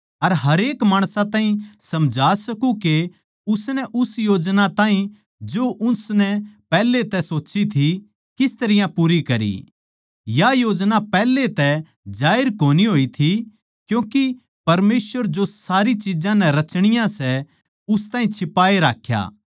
अर हरेक माणसां ताहीं समझा सकूँ के उसनै उस योजना ताहीं जो उसनै पैहले तै सोच्ची थी किस तरियां पूरी करी या योजना पैहले तै जाहिर कोनी होई थी क्यूँके परमेसवर जो सारी चिज्जां नै रचनियाँ सै उस ताहीं छिपाए राख्या